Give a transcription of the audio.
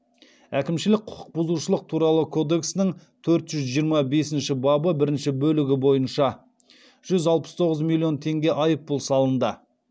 әкімшілік құқық бұзушылық туралы кодексінің төрт жүз жиырма бесінші бабы бірінші бөлігі бойынша жүз алпыс тоғыз миллион теңге айыппұл салынды